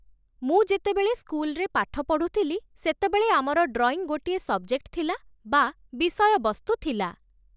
ମୁଁ ଯେତେବେଳେ ସ୍କୁଲରେ ପାଠ ପଢ଼ୁଥିଲି, ସେତେବେଳେ ଆମର ଡ୍ରଇଂ ଗୋଟିଏ ସବଜେକ୍ଟ ଥିଲା ବା ବିଷୟ ବସ୍ତୁ ଥିଲା